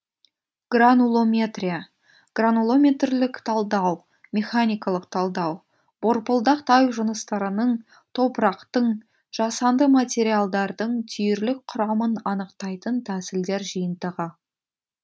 гранулометрия гранулометрлік талдау механикалық талдау борпылдақ тау жыныстарының топырақтың жасанды материалдардың түйірлік құрамын анықтайтын тәсілдер жиынтығы